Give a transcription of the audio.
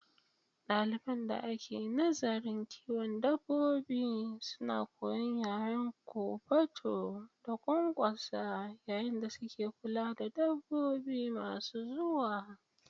Daliban da ke nazarin kiwon dabbobi suna koyon yaren kofato da ƙwanƙwasa yayin da suke kula da dabbobi masu zuwa.